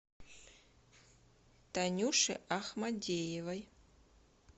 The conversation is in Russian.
танюше ахмадеевой